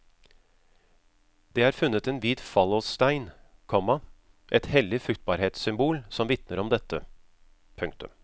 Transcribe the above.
Det er funnet en hvit fallosstein, komma et hellig fruktbarhetssymbol som vitner om dette. punktum